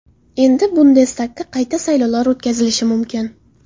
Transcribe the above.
Endi Bundestagga qayta saylovlar o‘tkazilishi mumkin.